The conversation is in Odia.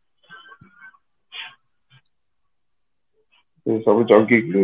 ଏମିତି ସବୁ ଜଗିକି